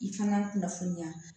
I kan ka kunnafoniya